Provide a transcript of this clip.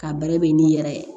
Ka bɛrɛ bɛn n'i yɛrɛ ye